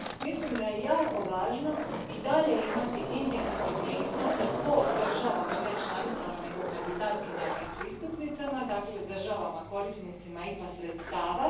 Mislim da je jako važno i dalje imati indikativne iznose po državama, ne članicama, nego kandidatkinjama i pristupnicama, dakle državama korisnicama IPA sredstava.